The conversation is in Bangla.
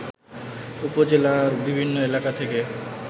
উপজেলার বিভিন্ন এলাকা থেকে